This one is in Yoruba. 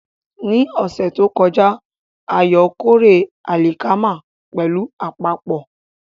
Ní ọ̀sẹ̀ tó kọjá, Ayo kórè alikama pẹ̀lú àpapọ̀.